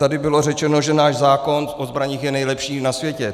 Tady bylo řečeno, že náš zákon o zbraních je nejlepší na světě.